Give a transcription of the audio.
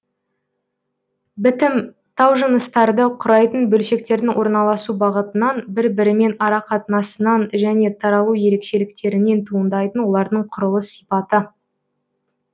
бітім таужыныстарды құрайтын бөлшектердің орналасу бағытынан бір бірімен арақатынасынан және таралу ерекшеліктерінен туындайтын олардың құрылыс сипаты